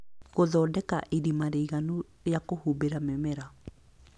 Gũthondeka irima rĩiganu rĩa kũhumbĩra mĩmera